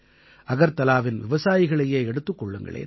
அகர்தலாவின் விவசாயிகளையே எடுத்துக் கொள்ளுங்களேன்